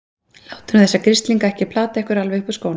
Látið nú þessa grislinga ekki plata ykkur alveg upp úr skónum!